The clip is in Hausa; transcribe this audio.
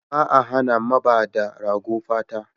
Ba a hana mabada rago fata.